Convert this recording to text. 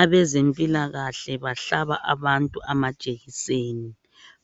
Abezempilakahle bahlaba abantu amajekiseni